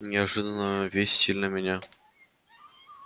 неожиданная весть сильно меня